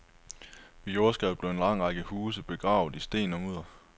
Ved jordskreddet blev en lang række huse begravet i sten og mudder.